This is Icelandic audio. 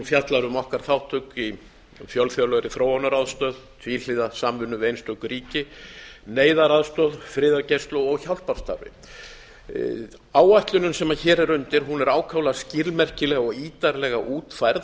fjallar um okkar þátttöku í fjölþjóðlegri þróunaraðstoð tvíhliða samvinnu við einstök ríki neyðaraðstoð friðargæslu og hjálparstarfið áætlunin sem hér er undir er ákaflega skilmerkileg og ítarlega útfærð